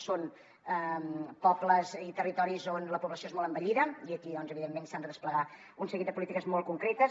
són pobles i territoris on la població és molt envellida i aquí evidentment s’han de desplegar un seguit de polítiques molt concretes